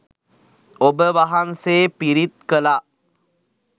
ඔබ වහන්සේ පිරිත් කළා